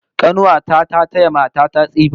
Kanuwa ta ta taya mata ta tsifa